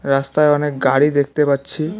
রাস্তায় অনেক গাড়ি দেখতে পাচ্ছি।